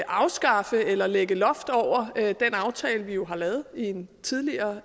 afskaffe eller lægge loft over den aftale vi har lavet i en tidligere